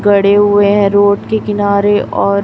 गड़े हुए हैं रोड के किनारे और--